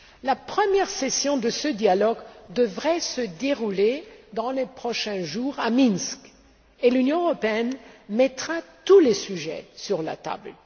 La première session de ce dialogue devrait avoir lieu dans les prochains jours à Minsk, et l'Union européenne mettra tous les sujets sur la table.